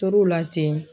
Tor'o la ten